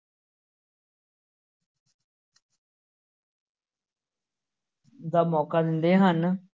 ਦਾ ਮੌਕਾ ਦਿੰਦੇ ਹਨ।